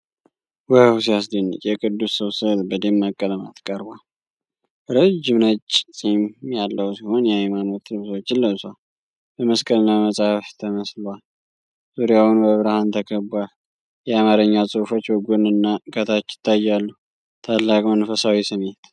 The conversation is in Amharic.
ዋው ሲያስደንቅ! የቅዱስ ሰው ሥዕል በደማቅ ቀለማት ቀርቧል። ረጅም ነጭ ጺም ያለው ሲሆን፣ የሃይማኖት ልብሶችን ለብሷል። በመስቀልና በመጽሐፍ ተመስሏል። ዙሪያውን በብርሃን ተከቧል። የአማርኛ ጽሑፎች በጎንና ከታች ይታያሉ። ታላቅ መንፈሳዊ ስሜት!